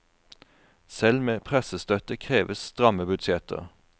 Selv med pressestøtte kreves stramme budsjetter.